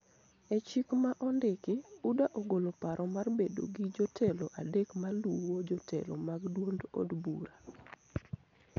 E chik ma ondiki, UDA ogolo paro mar bedo gi jotelo adek ma luwo jotelo mag duond od bura,